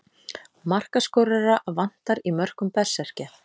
Markaskorara vantar í mörkum Berserkja.